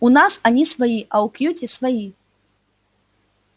у нас они свои а у кьюти свои